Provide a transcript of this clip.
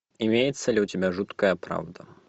имеется ли у тебя жуткая правда